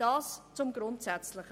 Soviel zum Grundsätzlichen.